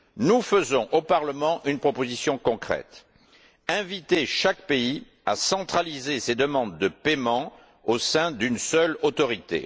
Nous faisons au Parlement une proposition concrète inviter chaque pays à centraliser ses demandes de paiement au sein d'une seule autorité.